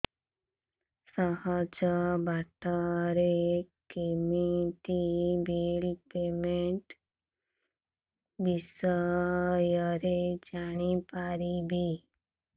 ସହଜ ବାଟ ରେ କେମିତି ବିଲ୍ ପେମେଣ୍ଟ ବିଷୟ ରେ ଜାଣି ପାରିବି